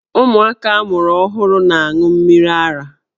Ụmụaka a mụrụ ọhụrụ na-aṅụ mmiri ara.